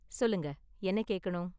சொல்லுங்க, என்ன கேக்கணும்?